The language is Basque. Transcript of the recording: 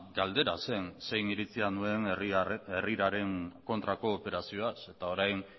galdera zen zein iritzia nuen herriraren kontrako operazioaz eta orain